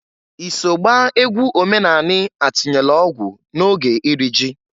I so gbaa egwu omenanị atinyelu ọgwụ n'oge iri ji?